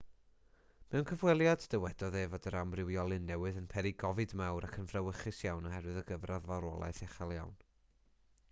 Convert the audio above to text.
mewn cyfweliad dywedodd e fod yr amrywiolyn newydd yn peri gofid mawr ac yn frawychus iawn oherwydd y gyfradd farwolaeth uchel iawn